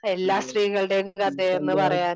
എല്ലാ സ്ത്രീകളുടെയും കഥയെന്നു പറയാൻ